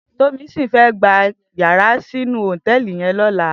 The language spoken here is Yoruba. Tomisin fè gbá iyàrá sinú hótèlí yèn lòlá